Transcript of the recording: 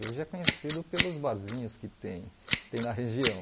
Hoje é conhecido pelos barzinhos que tem tem na região.